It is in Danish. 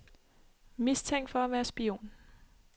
Mistænkt for at være spion.